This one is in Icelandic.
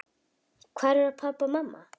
Hvar eru pabbi og mamma?